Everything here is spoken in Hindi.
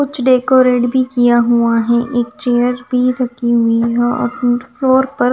कुछ डेकोरेट भी किया हुआ हैं एक चेयर भी रखी हुई हैं और फ्लोर पर--